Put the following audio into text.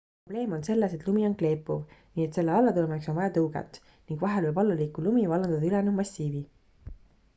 probleem on selles et lumi on kleepuv nii et selle allatulemiseks on vaja tõuget ning vahel võib alla liikuv lumi vallandada ülejäänud massiivi